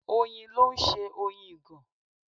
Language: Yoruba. Oyin ló ń ṣe Oyin ìgàn.